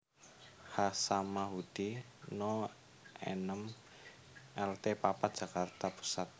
H Samanhudi No enem Lt papat Jakarta Pusat